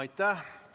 Aitäh!